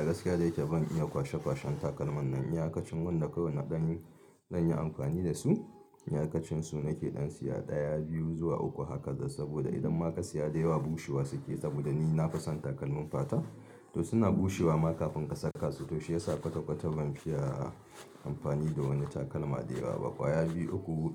A gaskiya dayake ban iya kwashe kwashen takalman nan, iyakacin wanda kawai na ɗa. Zan yi amfani da su, iyakacin su nake ɗan siya ɗaya, biyu zuwa uku haka. Saboda idan ma ka siya da yawa bushewa suke saboda ni na fason takalmin fata. To suna bushewa ma kafin ka saka su, to shi yasa kwata kwata ban fiya amfani da wani takalma da yawa ba. Kwaya biyu, uku